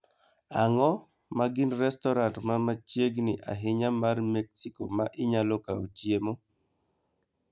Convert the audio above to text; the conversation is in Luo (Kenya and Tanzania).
Ang'o ma gin restoran ma machiegni ahinya mar Mexico ma inyalo kawo chiemo?